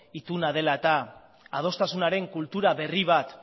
ituna dela eta adostasunaren kultura berri bat